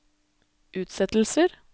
utsettelser